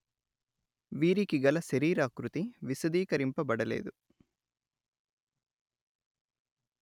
వీరికిగల శరీరాకృతి విశదీకరింపబడలేదు